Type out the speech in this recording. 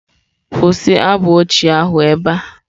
Kwụsị abụ ochie ahụ ebe a!.